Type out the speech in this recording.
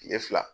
Kile fila